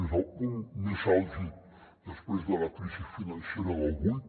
és al punt més àlgid després de la crisi financera del vuit